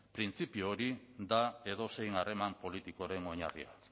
printzipio hori da edozein harreman politikoren oinarria